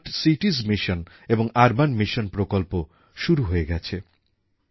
বিশ্ববাণিজ্য এখন ভারতের দিকেই তাকিয়ে আছে কারণ আমরাই এখন বিনিয়োগ আর নতুন প্রথা উদ্ভাবনের কেন্দ্র হয়ে উঠছি